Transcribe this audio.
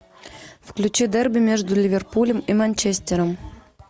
включи дерби между ливерпулем и манчестером